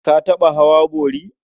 Ka taɓa hawa bori?